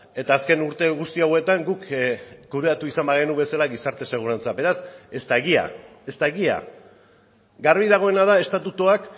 eta azken urte guzti hauetan guk kudeatu izan bagenu bezala gizarte segurantza beraz ez da egia ez da egia garbi dagoena da estatutuak